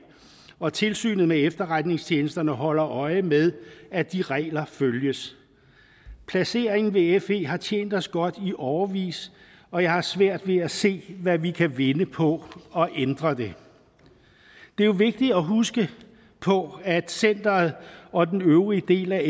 og tilsynet med efterretningstjenesterne holder øje med at de regler følges placeringen ved fe har tjent os godt i årevis og jeg har svært ved at se hvad vi kan vinde på at ændre det det er vigtigt at huske på at centeret og den øvrige del af